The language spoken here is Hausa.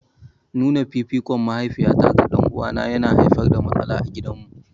Nuna fifikon mahaifiyata ga ɗan'uwana yana haifar da matsala a gidanmu.